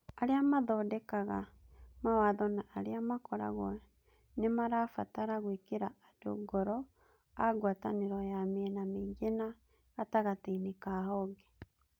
Arĩa maathondekaga mawatho na arĩa makoragwo nĩ marabatara gwĩkĩra andũ ngoroa ngwatanĩro ya mĩena mĩingĩ na gatagatĩ-inĩ ka honge